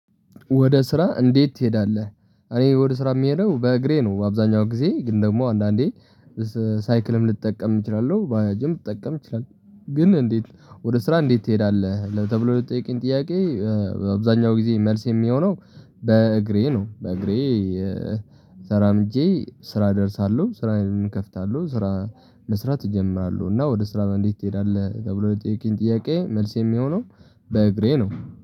ወደ ስራ እንዴት ትሄዳለህ እኔ ወደ ስራ የምሄደው በእግሬ ነው አብዛኛው ጊዜ፤ ግን ደግሞ አንዳንዴ ሳይክልም ልጠቀም እችላለሁ ባጅም ልጠቀም እችላለሁ ግን እንዴት ወደ ስራ እንዴት ትሄዳለህ ለተብሎ ለተጠየቀኝ ጥያቄ በአብዛኛው ጊዜ መልስ የሚሆነው በእግሬ ነው በእግሬ ተራምጄ ስራ እደርሳለሁ ስራዬን እከፍታለሁ ስራ መስራት እጀምራለሁ እና ወደ ስራ እንዴት ትሄዳለህ ተብሎ ለተጠየቀኝ ጥያቄ መልስ የሚሆነው በእግሬ ነው።